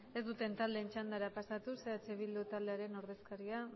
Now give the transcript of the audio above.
ez duten taldeen txandara pasatuz eh bildu taldearen ordezkaria